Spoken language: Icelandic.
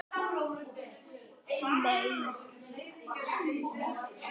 Og skoða útprentið.